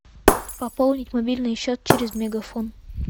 пополнить мобильный счет через мегафон